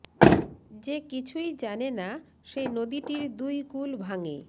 যে কিছুই জানে না সে নদীটির দুই কূল ভাঙে